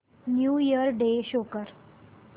new year day show कर